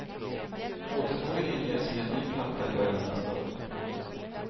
Återtåget inleds med en ny platta i början av nästa år.